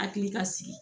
Hakili ka sigi